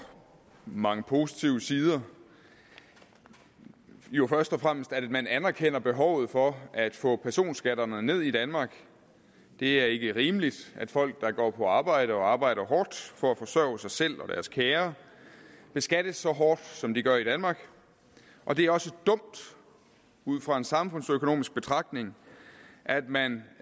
mange positive sider jo først og fremmest at man anerkender behovet for at få sat personskatterne ned i danmark det er ikke rimeligt at folk der går på arbejde og arbejder hårdt for at forsørge sig selv og deres kære beskattes så hårdt som de gør i danmark og det er også dumt ud fra en samfundsøkonomisk betragtning at man